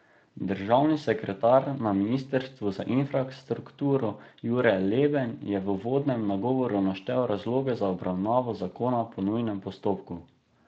Državni sekretar na ministrstvu za infrastrukturo Jure Leben je v uvodnem nagovoru naštel razloge za obravnavo zakona po nujnem postopku.